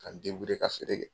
Ka n ka feere kɛ.